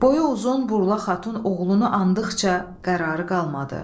Boyu uzun Burla xatun oğlunu andıqca qərarı qalmadı.